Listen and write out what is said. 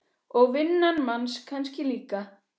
Og vinnan manns kannski líka.